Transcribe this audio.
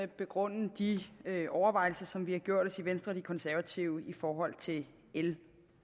begrunde de overvejelser som vi har gjort os i venstre og de konservative i forhold til l